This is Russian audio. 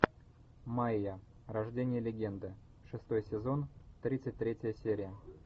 майя рождение легенды шестой сезон тридцать третья серия